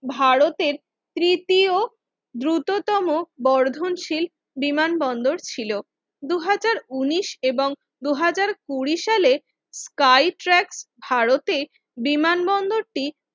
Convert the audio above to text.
ভারতের তৃতীয় দ্রুততম বর্ধনশীল বিমানবন্দর ছিল। ভারতের তৃতীয় দ্রুত দুই হাজার উনিশ এবং দুই হাজার কুঁড়ি সালের গাই ট্র্যাক ভারতে বিমানবন্দরটি